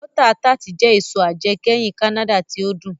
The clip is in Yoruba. Bọ́ta tart jẹ èso ajẹkẹ́hin Kánádà tí ó dùn